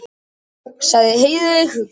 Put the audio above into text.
sagði Heiðveig hugsi.